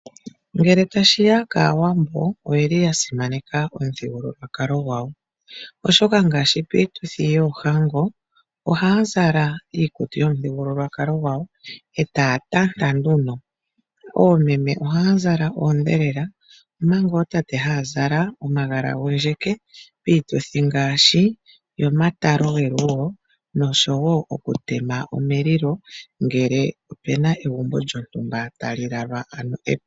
Ngele tashiya kaawambo oyeli ya simaneka omuthigululwakalio gwawo. Oshoka ngaashi piituthi yoohango oha zala iikutu yomuthigululwakalo gwawo etaya tanta nduno. Oomeme oyaya zala odhelela omanga ootate haa zala omagala gondjeke. Piituthi ngaashi yomatalo gelugo noshowo oku tema omulilo ngele opena egumbo lyotumba tali lalwa aluhe.